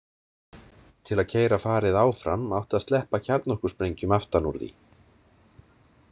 Til að keyra farið áfram átti að sleppa kjarnorkusprengjum aftan úr því.